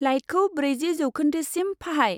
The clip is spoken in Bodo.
लाइटखौ ब्रैजि जौखोन्दोसिम फाहाय।